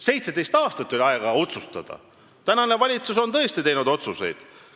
17 aastat oli aega otsustada, aga praegune valitsus on tõesti otsuseid teinud.